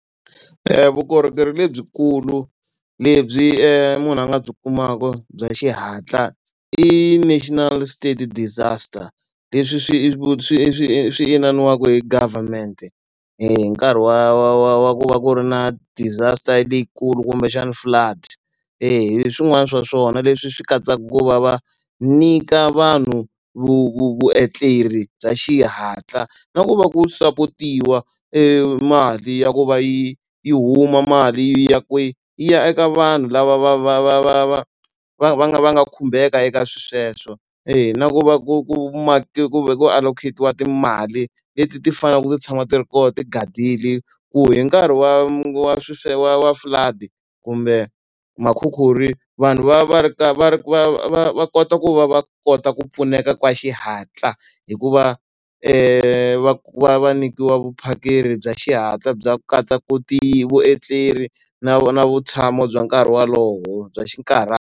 vukorhokeri lebyikulu lebyi munhu a nga byi kumaka bya xihatla i national start disaster. Leswi swi swi swi swi ininiwaka hi government-e hi nkarhi wa wa wa wa ku va ku ri na disaster leyikulu kumbexana flood. E hi swin'wana swa swona leswi swi katsaka ku va va nyika vanhu vuetleri bya xihatla, na ku va ku sapotiwa e mali ya ku va yi yi huma mali ya kwihi? Yi ya eka vanhu lava va va va va va va va nga va nga khumbeka eka sweswo. E na ku va ku ku ku ku allocate-iwa timali leti ti faneleke ti tshama ti ri kona ti gadile, ku hi nkarhi wa wa swilo wa flood-i, kumbe ma khukhuri, vanhu va va ri ka va va ri va va va kota ku va va kota ku pfuneka ka xihatla. Hikuva va va nyikiwa vuphakeri bya xihatla byi ku katsa ku vuetleri na na vutshamo bya nkarhi wolowo bya .